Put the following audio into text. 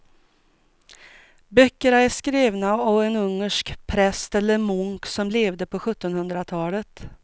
Böckerna är skrivna av en ungersk präst eller munk som levde på sjuttonhundratalet.